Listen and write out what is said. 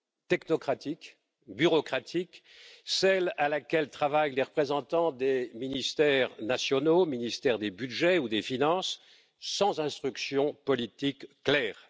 technocratique, bureaucratique, celle à laquelle travaillent les représentants des ministères nationaux, ministères des budgets ou des finances, sans instruction politique claire.